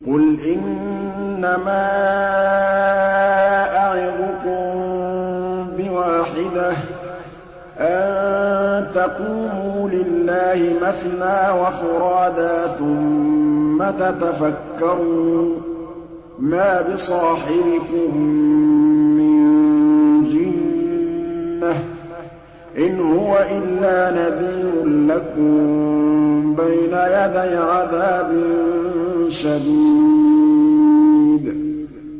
۞ قُلْ إِنَّمَا أَعِظُكُم بِوَاحِدَةٍ ۖ أَن تَقُومُوا لِلَّهِ مَثْنَىٰ وَفُرَادَىٰ ثُمَّ تَتَفَكَّرُوا ۚ مَا بِصَاحِبِكُم مِّن جِنَّةٍ ۚ إِنْ هُوَ إِلَّا نَذِيرٌ لَّكُم بَيْنَ يَدَيْ عَذَابٍ شَدِيدٍ